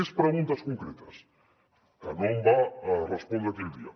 més preguntes concretes que no em va respondre aquell dia